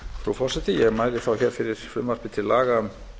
frú forseti ég mæli þá hér fyrir frumvarpi til laga